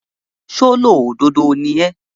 ṣólódodo ni ẹ́?